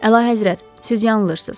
Əlahəzrət, siz yanılırsınız.